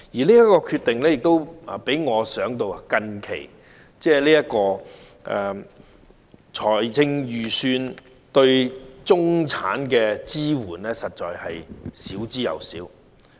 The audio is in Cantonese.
這項決定讓我想到最近的財政預算案對中產的支援，實在是少之又少。